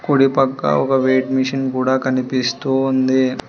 కుడిపక్క ఒక weight machine కూడా కనిపిస్తూ ఉంది.